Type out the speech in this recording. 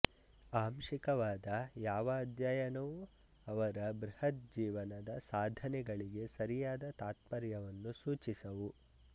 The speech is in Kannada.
ಆಂಶಿಕವಾದ ಯಾವ ಅಧ್ಯಯನವೂ ಅವರ ಬೃಹದ್ ಜೀವನ ಸಾಧನೆಗಳಿಗೆ ಸರಿಯಾದ ತಾತ್ಪರ್ಯವನ್ನು ಸೂಚಿಸವು